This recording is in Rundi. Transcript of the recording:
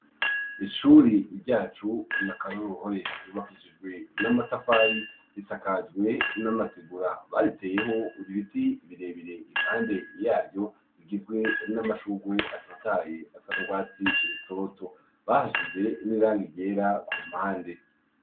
Ishuri ryacu n'akaroruhore ryubakishijwe n'amatafari risakajwe n'amategura, bariteyeho ibiti bire bire impande yaryo bigizwe n'amashurwe atotahaye asa n'urwatsi rutoto, bahashize n'irangi ryera ku mpande.